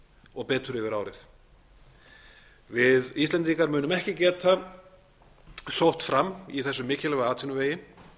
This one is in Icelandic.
og betur yfir árið við íslendingar munum ekki geta sótt fram í þessum mikilvæga atvinnuvegi